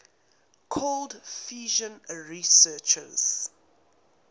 cold fusion researchers